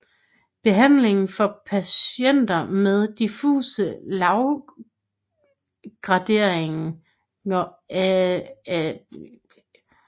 Behandlingen for patienter med diffuse lavgradige astrocytomer viser imidlertid ikke enstemmig konsensus i litteraturen